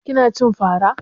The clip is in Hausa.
Kina cin fara